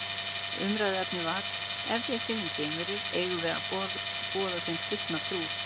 Umræðuefnið var Ef við finnum geimverur, eigum við að boða þeim kristna trú?